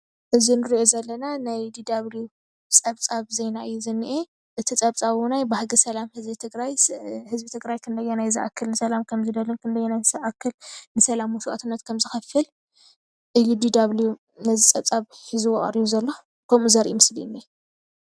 እዚ እንርኦ ዘለና ናይ DW ፀብፃብ ዜና እዩ ዝኔኤ እቲ ፀብፃብ ባህጊ ህዝቢ ትግራይ ንሰላም ክንደናይ ከምዝደሊ መስዋእቲ ከምዝከፍል DW ነዚ ፀብፃብ ሕዝዎ ቀሪቡ ዘሎ።